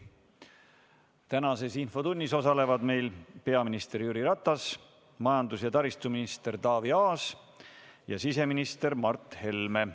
Tänases infotunnis osalevad peaminister Jüri Ratas, majandus- ja taristuminister Taavi Aas ja siseminister Mart Helme.